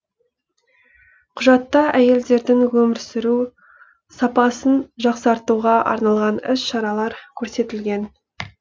құжатта әйелдердің өмір сүру сапасын жақсартуға арналған іс шаралар көрсетілген